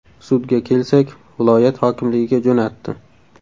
Sudga kelsak, viloyat hokimligiga jo‘natdi”.